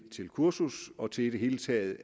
et kursus og til i det hele taget